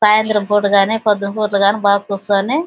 సాయంత్రం పుట గాని పొద్దున్న పుట గాని బాగా కూచొని --